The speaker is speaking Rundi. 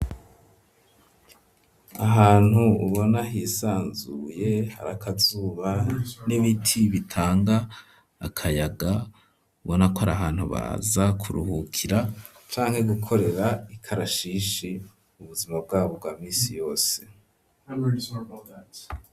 Ahantu ubona hisanzuye, hari akazuba n'ibiti bitanga akayaga, ubona ko ari ahantu baza kuruhukira, canke gukorera ikarashishi, mu buzima bwabo bwa minsi yose.